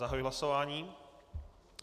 Zahajuji hlasování.